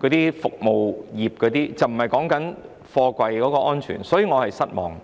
等服務業，而不是貨櫃安全，這令我感到失望。